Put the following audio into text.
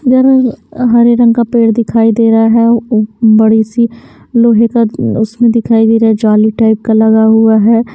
इधर हरे रंग का पेड़ दिखाई दे रहा है बड़ी सी लोहे का उसमें दिखाई दे रहा है जाली टाइप का लगा हुआ है।